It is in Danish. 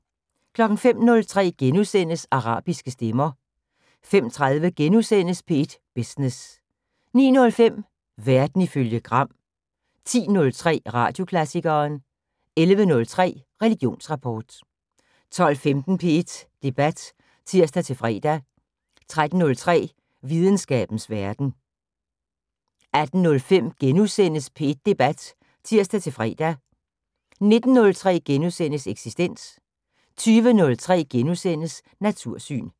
05:03: Arabiske stemmer * 05:30: P1 Business * 09:05: Verden ifølge Gram 10:03: Radioklassikeren 11:03: Religionsrapport 12:15: P1 Debat (tir-fre) 13:03: Videnskabens Verden 18:05: P1 Debat *(tir-fre) 19:03: Eksistens * 20:03: Natursyn *